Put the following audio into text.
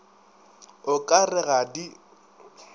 o ka re ga di